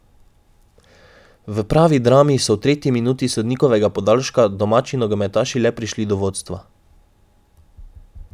V pravi drami so v tretji minuti sodnikovega podaljška domači nogometaši le prišli do vodstva.